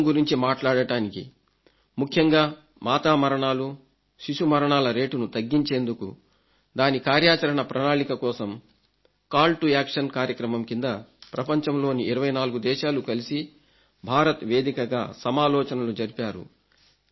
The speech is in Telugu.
ఆరోగ్యం గురించి మాట్లాడటానికి ముఖ్యంగా మాతా మరణాలు శిశు మరణాల రేటును తగ్గించేందుకు దాని కార్యాచరణ ప్రణాళిక కోసం కాల్ టు యాక్షన్ కార్యక్రమం కింద ప్రపంచంలోని 24 దేశాలు కలిసి భారత్ వేదికగా సమాలోచనలు జరిపారు